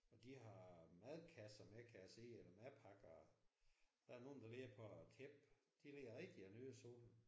Og de har madkasser med kan jeg se eller madpakker. Der er nogle der ligger på et tæppe. De ligger rigtig og nyder solen